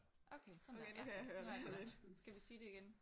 Okay sådan der ja nu er den der. Skal vi sige det igen?